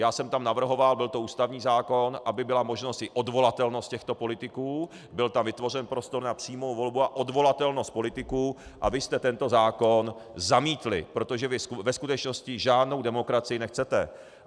Já jsem tam navrhoval, byl to ústavní zákon, aby byla možnost i odvolatelnost těchto politiků, byl tam vytvořen prostor na přímou volbu a odvolatelnost politiků, a vy jste tento zákon zamítli, protože vy ve skutečnosti žádnou demokracii nechcete.